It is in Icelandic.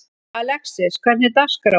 Alexis, hvernig er dagskráin?